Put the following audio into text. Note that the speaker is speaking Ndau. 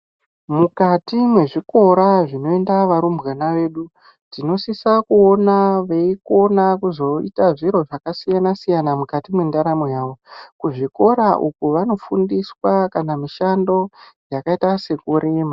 Mukati mwezvikora zvinoenda varumbwana vedu tinosisa kuona veikona kuzoita zviro zvakasiyana siyana mukati mwendaramo yavo kuzvikora uku vanofundiswa kana mishando yakaita sekurima.